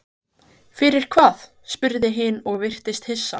Fyrir hvað, spurði hin og virtist hissa.